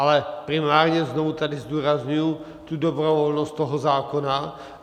Ale primárně znovu tady zdůrazňuji tu dobrovolnost toho zákona.